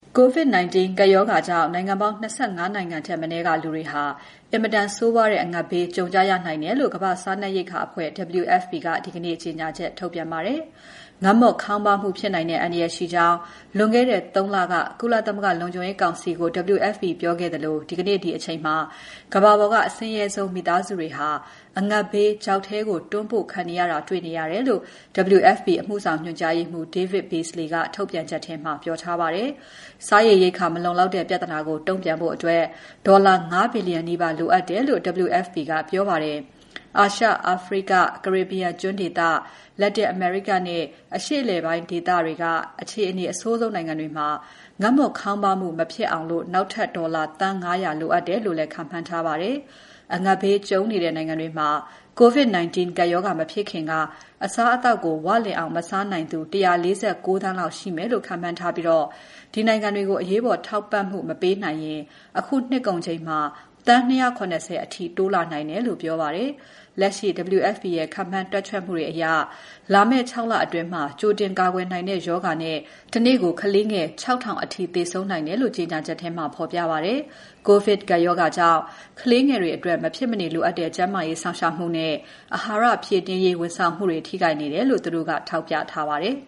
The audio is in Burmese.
COVID-19 ကပ်ရောဂါကြောင့် နိုင်ငံပေါင်း ၂၅ နိုင်ငံထက်မနည်းက လူတွေဟာ အင်မတန်ဆိုးဝါးတဲ့ အငတ်ဘေး ကြုံကြရနိုင်တယ်လို့ ကမ္ဘာ့စားနပ်ရိက္ခာအဖွဲ့ WFP က ဒီနေ့ ကြေညာချက်ထုတ်ပြန်ပါတယ်။ ငတ်မွတ်ခေါင်းပါးမှုဖြစ်နိုင်တဲ့ အန္တရာယ်ရှိကြောင်း လွန်ခဲ့တဲ့ ၃ လက ကုလသမဂ္ဂလုံခြုံရေးကောင်စီကို WFP ကပြောခဲ့သလို ဒီကနေ့ ဒီအချိန်မှာ ကမ္ဘာပေါ်က အဆင်းရဲဆုံးမိသားစုတွေဟာ အငတ်ဘေးချောက်ထဲကို တွန်းပို့ခံနေရတာ တွေ့နေရတယ်လို့ WFP အမှုဆောင်ညွှန်ကြားရေးမှူး David Beasley က ထုတ်ပြန်ချက်ထဲမှာ ပြောထားပါတယ်။ စားရေရိက္ခာမလုံလောက်တဲ့ ပြဿနာကို တုန့်ပြန်ဖို့ ဒေါ်လာ ၅ ဘီလီယံ နီးပါး လိုအပ်တယ်လို့ WFP ကပြောပါတယ်။ အာရှ၊ အာဖရိက၊ ကာရစ်ဘီယံကျွန်းဒေသ၊ လက်တင်အမေရိကနဲ့ အရှေ့အလယ်ပိုင်းဒေသတွေက အခြေအနေအဆိုးဆုံးနိုင်ငံတွေမှာ ငတ်မွတ်ခေါင်းပါးမှုမဖြစ်အောင် နောက်ထပ် ဒေါ်လာ သန်း ၅၀၀ လိုအပ်တယ်လို့လည်း ခန့်မှန်းထားပါတယ်။ အငတ်ဘေးကြုံနေတဲ့နိုင်ငံတွေမှာ COVID-19 ကပ်ရောဂါ မဖြစ်ခင်က အစားအသောက်ကို ဝလင်အောင် မစားနိုင်သူ ၁၄၉ သန်းလောက်ရှိမယ်လို့ ခန့်မှန်းထားပြီး ဒီနိုင်ငံတွေကိုအရေးပေါ် ထောက်ပံ့မပေးနိုင်ရင် အခုနှစ်ကုန်ချိန်မှာ သန်း ၂၇၀ အထိ တိုးလာနိုင်တယ်လို့လည်း ပြောပါတယ်။ လက်ရှိ WFP ရဲ့ ခန့်မှန်းတွက်ချက်မှုတွေအရ လာမယ့် ၆ လအတွင်း ကြိုတင်ကာကွယ်နိုင်တဲ့ ရောဂါတွေနဲ့ တနေ့ကို ကလေးငယ် ၆,၀၀၀ အထိ သေဆုံးနိုင်တယ်လို့ ကြေညာချက်မှာ ဖော်ပြပါတယ်။ ကိုဗစ်ကပ်ရောဂါကြောင့် ကလေးငယ်တွေအတွက် မဖြစ်မနေလိုအပ်တဲ့ ကျန်းမာရေးစောင့်ရှောက်မှုနဲ့ အဟာရဖြည့်တင်းရေး ဝန်ဆောင်မှုတွေ ထိခိုက်နေတာကို သူတို့က ထောက်ပြထားပါတယ်